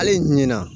Hali ɲina